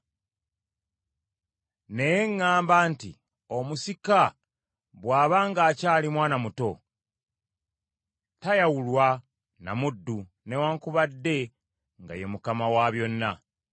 Naye ŋŋamba nti omusika bw’aba ng’akyali mwana muto, tayawulwa na muddu, newaakubadde nga ye mukama wa byonna.